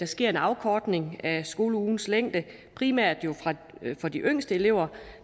sker en afkortning af skoleugens længde primært for de yngste elever